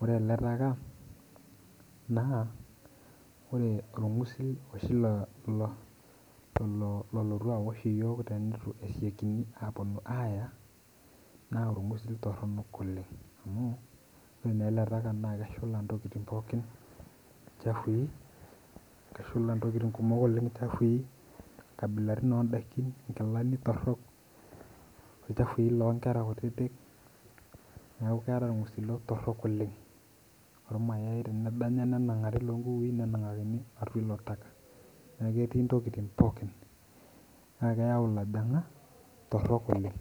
ore ele taka naa ore orng'usil oshi lo lolotu awosh iyiok tenitu esiokini aaya naa orng'usil torronok oleng amu ore naa ele taka naa keshula intokiting pookin chafui keshula intokiting kumok oleng chafui inkabilaritin ondakin inkilani torrok ilchafui lonkera kutitik niaku keeta irng'usilo torrok oleng ormayae tenedanya nenang'ari lonkukui nenang'akini atua ilo taka niaku ketii intoking pookin naa ekeyau ilojong'ak torrok oleng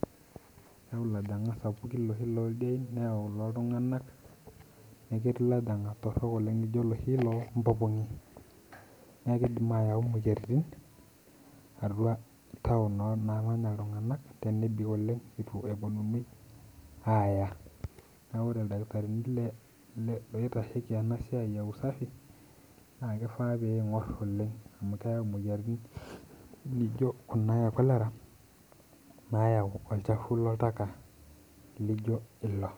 eyau ilojang'ak sapukin iloshi loldiein neyau iloltung'anak neketii ilojang'ak torrok oleng lijo iloshi lompopong'i niakidim ayau imoyiaritin atua town naa namanya iltung'anak tenebik oleng itu eponunui aaya niaku ore ildakitarini le loitasheki ena siai e usafi naa kifaa peing'orr oleng amu keyau imoyiaritin nijokuna e cholera nayau olchafu loltaka lijio ilo.